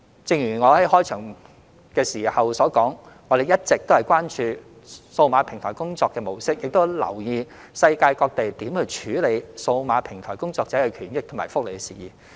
正如我在開場發言提及，我們一直關注數碼平台工作的模式，亦有留意世界各地如何處理數碼平台工作者的權益和福利等事宜。